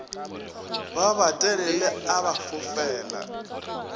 ba batelele a ba fofela